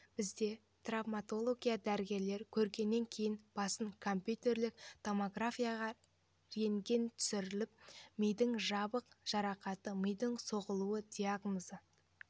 бізде травматолог дәрігерлер көргеннен кейін басын компьютерлік томографияға рентген түсіріліп мидың жабық жарақаты миының соғылуы диагнозы